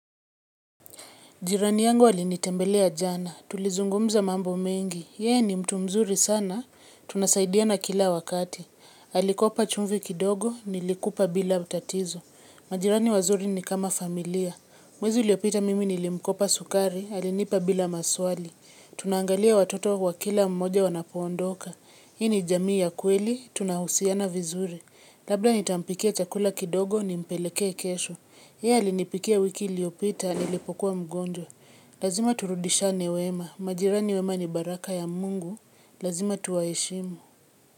Jirani yangu alinitembelea jana, tulizungumza mambo mengi. Yeye ni mtu mzuri sana, tunasaidiana kila wakati. Alikopa chumvi kidogo, nilikupa bila tatizo. Majirani wazuri ni kama familia. Mwezu uliopita mimi nilimkopa sukari, alinipa bila maswali. Tunangaalia watoto wa kila mmoja wanapoondoka. Hii ni jamii ya kweli, tunahusiana vizuri. Labda nitampikia chakula kidogo nimpelekee kesho. Yeye alinipikia wiki iliyopita nilipokuwa mgonjwa. Lazima turudishane wema. Majirani wema ni baraka ya Mungu. Lazima tuwaheshimu.